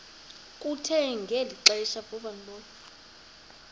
kuthe ngeli xesha